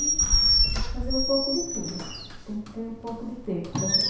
E gosto de fazer um pouco de tudo, tem que ter um pouco de tempo também.